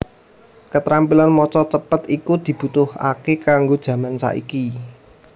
Ketrampilan maca cepet iku dibutuhake kanggone jaman saiki